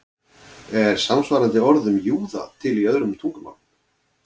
Er samsvarandi orð um júða til í öðrum tungumálum?